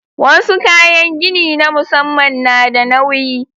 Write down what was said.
Wasu kayan gini na musamman na da nauyi.